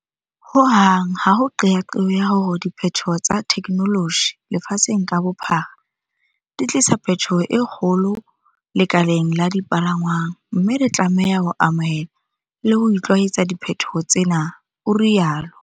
Ho hang ha ho qeaqeo ya hore diphethoho tsa thekenoloji lefatsheng ka bophara di tlisa phethoho e kgolo lekaleng la dipalangwang, mme re tlame ha ho amohela le ho itlwaetsa diphethoho tsena, o rialo.